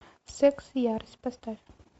секс и ярость поставь